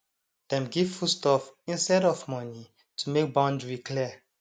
dem give food stuff instead of money to make boundary clear